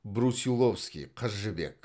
брусиловский қыз жібек